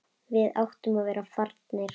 Við áttum að vera farnir.